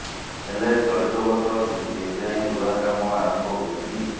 ହେଲେ ଚଳିତ ବର୍ଷ କିନ୍ତୁ ଏଯାଏଁ ରୁଆ କାମ ଆରମ୍ଭ ହୋଇନି